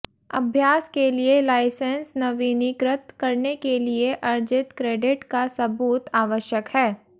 अभ्यास के लिए लाइसेंस नवीनीकृत करने के लिए अर्जित क्रेडिट का सबूत आवश्यक है